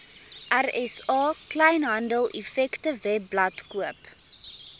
rsa kleinhandeleffektewebblad koop